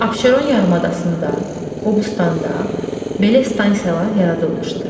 Abşeron yarımadasında, Qobustanda belə stansiyalar yaradılmışdır.